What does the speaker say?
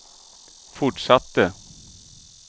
fortsatte